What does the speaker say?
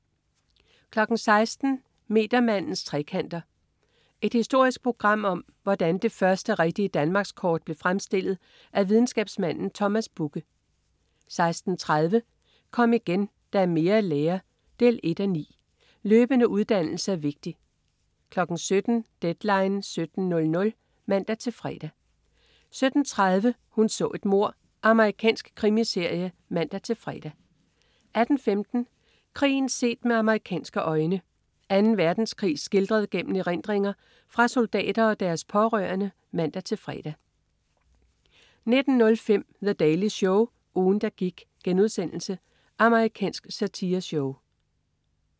16.00 Metermandens trekanter. Et historisk program om, hvordan det første rigtige danmarkskort blev fremstillet af videnskabsmanden Thomas Bugge 16.30 Kom igen, der er mere at lære 1:9. Løbende uddannelse er vigtig 17.00 Deadline 17.00 (man-fre) 17.30 Hun så et mord. Amerikansk krimiserie (man-fre) 18.15 Krigen set med amerikanske øjne. Anden Verdenskrig skildret gennem erindringer fra soldater og deres pårørende (man-fre) 19.05 The Daily Show. Ugen, der gik.* Amerikansk satireshow